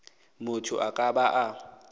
motho a ka ba a